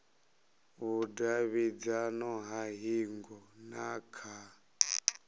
vhudavhidzano ha hingo na kha